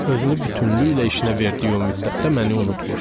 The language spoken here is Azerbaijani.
Özünü bütünlüklə işinə verdiyi o müddətdə məni unutmuşdu.